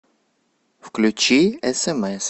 включи смс